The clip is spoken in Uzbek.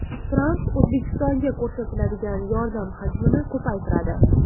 Tramp O‘zbekistonga ko‘rsatiladigan yordam hajmini ko‘paytiradi.